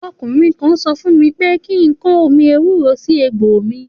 Òkúnrìn kan sò fún mí pẹ kikan òmí èwúrò si ègbó mí